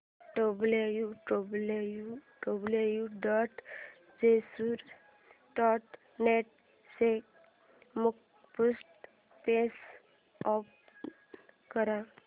W W W dot Jejuri dot net चे मुखपृष्ठ page open कर